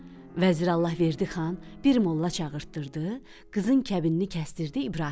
Vəzir Allahverdi Xan bir molla çağırtdırdı, qızın kəbinini kəsdirdi İbrahimə.